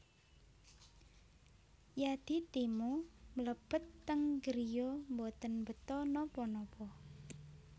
Yadi Timo mlebet teng griya mboten beta napa napa